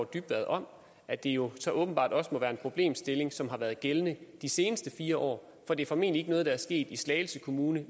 dybvad om at det jo så åbenbart også må være en problemstilling som har været gældende i de seneste fire år for det er formentlig ikke noget der er sket i slagelse kommune